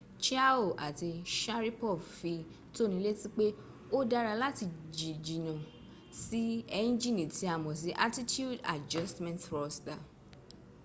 chiao àti sharipov fi tónilétí pé ó dára láti jíjìnà sí ẹnjìni tí a mọ̀ sí attitude adjustment thruster